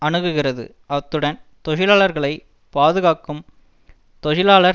அணுகுகிறது அத்துடன் தொழிலாளர்களை பாதுகாக்கும் தொழிலாளர்